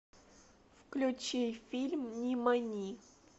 включи фильм нимани